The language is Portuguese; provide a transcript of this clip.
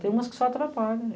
Tem umas que só atrapalham.